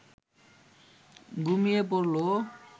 ঘুমিয়ে পড়ল